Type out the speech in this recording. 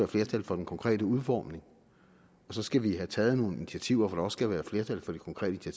flertal for den konkrete udformning og så skal vi have taget nogle initiativer hvor skal være flertal for de konkrete